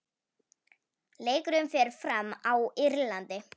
Leikurinn fer fram á Írlandi.